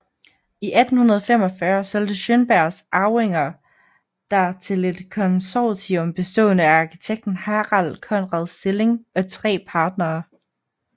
I 1845 solgte Schønbergs arvinger der til et konsortium bestående af arkitekten Harald Conrad Stilling og tre partnere